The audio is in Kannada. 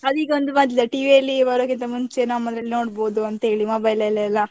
ಅದು ಈಗೊಂದು ಬಂದಿದೆ TV ಅಲ್ಲಿ ಬರೋಕಿಂತ ಮುಂಚೇನೆ, ನಮ್ಮದ್ರಲ್ಲಿ ನೋಡ್ಬೋದು ಅಂತ ಹೇಳಿ mobile ಆಲ್ಲೆಲ್ಲಾ.